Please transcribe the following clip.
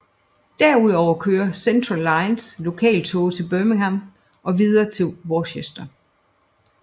Derudover kører Central Lines lokaltoge til Birmingham og videre til Worcester